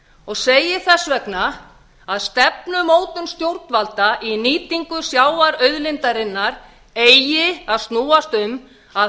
og segi þess vegna að stefnumótun stjórnvalda í nýtingu sjávarauðlindarinnar eigi að snúast um að